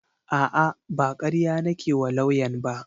A'a ba karya nake wa lauyan ba